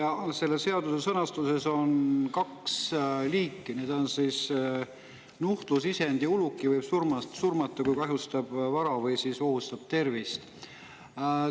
Selle seadus sõnastuses on toodud kaks võib nuhtlusisendi ja uluki surmata: kui see kahjustab vara või ohustab tervist.